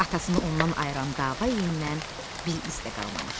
Atasını ondan ayıran dava yendən bir iz də qalmamışdı.